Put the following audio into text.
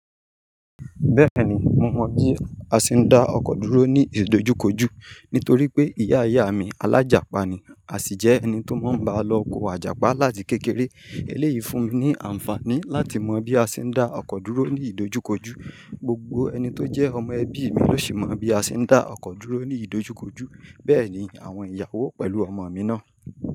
Bẹ́ẹ̀ni, mo mọn bí a ṣe ń dá ọkọ̀ dúró ní ìdojúkọjú. Nítorí pé ìyá ìyá mi alájapa ni, a sì jẹ́ ẹni tó máa ń bá a lọ oko àjàpá láti kékeré. Eléyìí fún mi ní àǹfààní láti mọ bí a ṣe ń dá ọkọ̀ dúró ní ìdojúkọjú. Gbogbo ẹni tó jẹ́ ọmọ ẹbí mi ló sì mọ bí a ṣe ń dá ọkọ̀ dúró ní ìdojúkọjú, bẹ́ẹ̀ ni àwọn ìyàwó pẹ̀lú ọmọ mi náà.